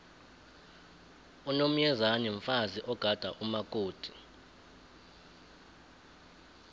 unomyezane mfazi ogada umakoti